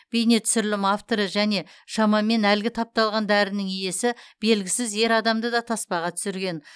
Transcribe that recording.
бейнетүсірілім авторы және шамамен әлгі тапталған дәрінің иесі белгісіз ер адамды да таспаға түсірген